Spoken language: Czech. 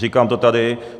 Říkám to tady.